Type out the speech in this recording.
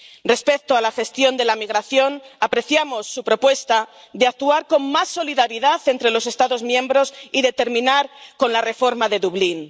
Respecto a la gestión de la migración, apreciamos su propuesta de actuar con más solidaridad entre los Estados miembros y de terminar con la reforma de Dublín.